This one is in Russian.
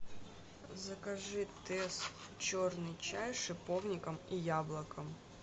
закажи тесс черный чай с шиповником и яблоком